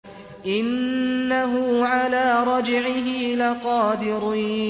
إِنَّهُ عَلَىٰ رَجْعِهِ لَقَادِرٌ